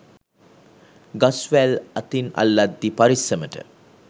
ගස් වැල් අතින් අල්ලද්දී පරිස්සමට.